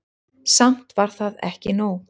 Samt var það ekki nóg.